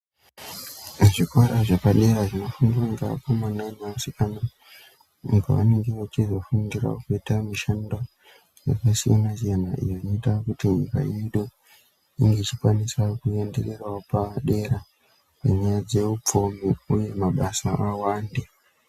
Zvikora zvepadera zvinofundira Vakomana nevasikana Pavanenge vachifundira kuita mishando yakasiyana-siyana inoita kuti nyika yedu inenge ichikwanisawo kuenderera padera Munyaya dzehutano dzeupfumi uye mabasa awande.